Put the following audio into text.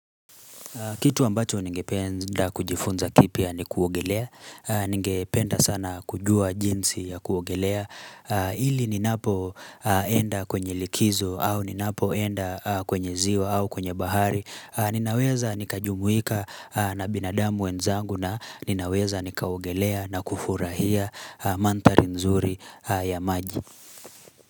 Kitu ambacho ningependa kujifunza kipya ni kuogelea, ningependa sana kujua jinsi ya kuogelea, ili ninapo enda kwenye likizo au ninapoenda kwenye ziwa au kwenye bahari, ninaweza nikajumuika na binadamu wenzangu na ninaweza nikaogelea na kufurahia mandhari mzuri ya maji.